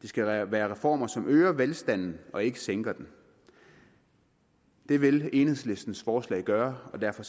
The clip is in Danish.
det skal være være reformer som øger velstanden og ikke sænker den det vil enhedslistens forslag gøre og derfor